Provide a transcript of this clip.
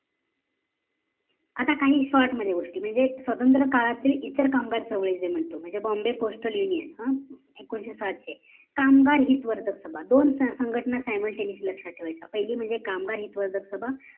आता काही short मध्ये गोष्टी म्हणजे स्वातंत्र्य काळातील इतर कामगार चळवळी जे म्हणतो म्हणजे bombay postal union अं एकोणीशे सातशे कामगार हित वर्धक सभा दोन संघटना SIMULTANEOUSLY लक्ष्यात ठेवायचा पहिली म्हणजे कामगार हितवर्धक सभा